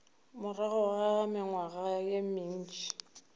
morago ga mengwaga ye mentši